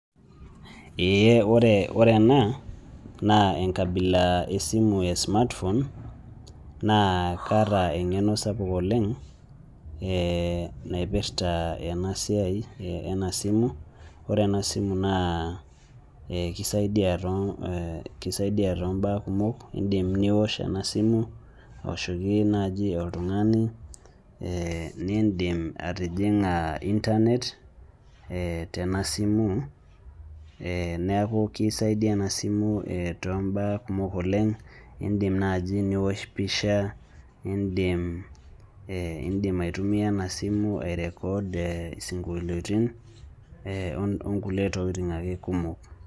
ee ore ena naa enkabila esimu e smartphone naa kaata engeno sapuk oleng, naipirta, ena siai, ena simu, ore ena simu naa kisaidia too mbaa kumok, idim niosh ena simu, aoshoki naanji oltungani, ee nidim atijing'a internet ee tena simu, neeku kisaidia ena simu ee, too mba kumok oleng' idim naaji. niosh pisha, idim ee idim aitumia ena simu eee ai record isinkolitin.ee onkulie tokitin ake kumok.